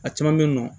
A caman bɛ yen nɔ